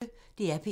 DR P1